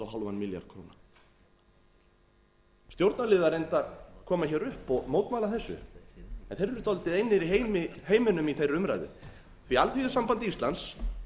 og hálfan milljarð króna stjórnarliðar reyndar koma hér upp og mótmæla þessu en þeir eru dálítið einir í heiminum í þeirri umræðu því að alþýðusamband íslands